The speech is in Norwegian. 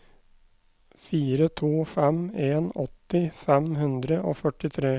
fire to fem en åtti fem hundre og førtitre